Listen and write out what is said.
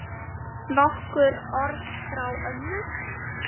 Nokkur orð frá ömmu.